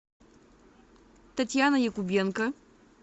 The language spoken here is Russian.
татьяна якубенко